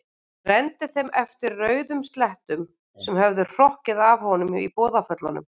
Renndi þeim eftir rauðum slettum sem höfðu hrokkið af honum í boðaföllunum.